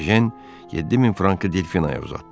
Ejen 7000 frankı Delfinaya uzatdı.